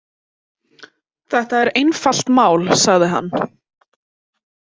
Þetta er einfalt mál, sagði hann.